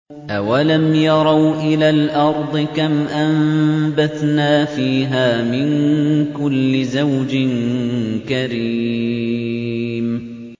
أَوَلَمْ يَرَوْا إِلَى الْأَرْضِ كَمْ أَنبَتْنَا فِيهَا مِن كُلِّ زَوْجٍ كَرِيمٍ